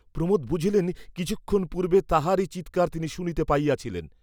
প্রমোদ বুঝিলেন, কিছুক্ষণ পূর্ব্বে তাহারই চীৎকার তিনি শুনিতে পাইয়াছিলেন।